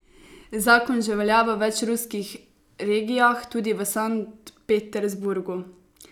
Zakon že velja v več ruskih regijah, tudi v Sankt Peterburgu.